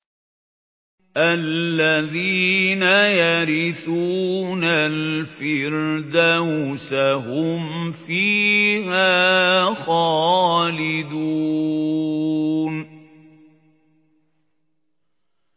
الَّذِينَ يَرِثُونَ الْفِرْدَوْسَ هُمْ فِيهَا خَالِدُونَ